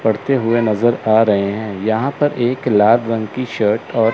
पढ़ते हुए नजर आ रहे हैं यहां पर एक लाल रंग की शर्ट और--